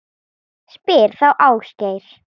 Spyr þá Ásgeir.